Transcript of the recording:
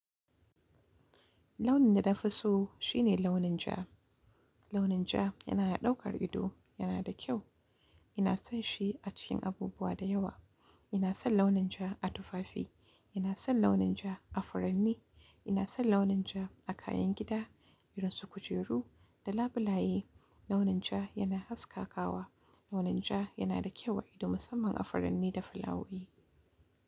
Lawin da na fi so shine launin ja. Launin ja yana ya daukar ido, yana da kyau. Ina son shi a cikin abubuwa da yawa. Ina son launin ja a tufafi, ina son launin ja a furanni, ina son launin ja a kayan gida irin su kujeru da labulaye. Launin ja yana haska kawa. Launin ja yana da kyau a ido musamman a furanni da filawoyi.